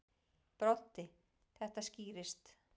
Broddi: Þetta skýrist.